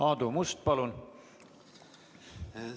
Aadu Must, palun!